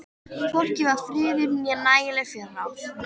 Hvorki var friður né nægileg fjárráð.